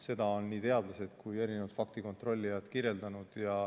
Seda on nii teadlased kui ka faktikontrollijad kirjeldanud.